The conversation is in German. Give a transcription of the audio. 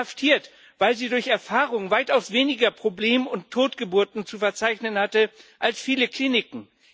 Inhaftiert, weil sie durch Erfahrung weitaus weniger Probleme und Totgeburten zu verzeichnen hatte als viele Kliniken.